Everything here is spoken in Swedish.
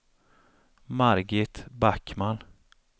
Margit Backman